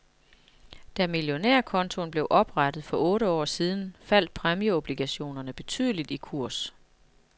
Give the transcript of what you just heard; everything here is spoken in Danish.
Da millionærkontoen blev oprettet for otte år siden, faldt præmieobligationerne betydeligt i kurs.